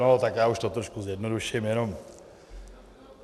No tak já to už trošku zjednoduším jenom.